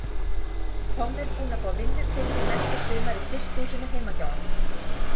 Tommi er búinn að fá vinnu fyrir mig næsta sumar í frystihúsinu heima hjá honum.